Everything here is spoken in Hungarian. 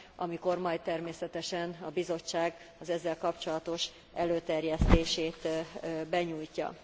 amikor majd természetesen a Bizottság az ezzel kapcsolatos előterjesztését benyújtja.